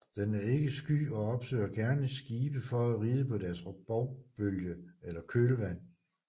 Den er ikke sky og opsøger gerne skibe for at ride på deres bovbølge eller kølvand